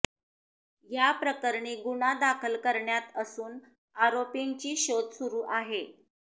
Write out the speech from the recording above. या प्रकरणी गुन्हा दाखल करण्यात असून आरोपींची शोध सुरू आहे